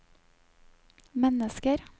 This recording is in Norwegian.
mennesker